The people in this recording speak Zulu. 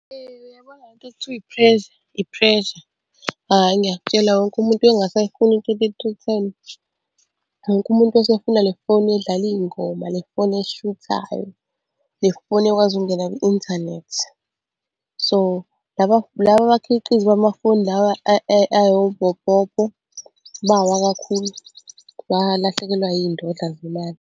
Uyabona le nto ekuthiwa i-pressure, i-pressure, hhayi ngiyakutshela wonke umuntu wayengasayifuni i-thirty-three ten. Wonke umuntu wayesefuna le foni edlala iy'ngoma, le foni eshuthayo, le fone ekwazi ukungena kwi-inthanethi. So, laba laba abakhiqizi bamafoni lawa ayobhopopo bawa kakhulu, balahlekelwa zindodla zemali.